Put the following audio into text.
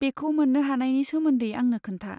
बेखौ मोन्नो हानायनि सोमोन्दै आंनो खोन्था।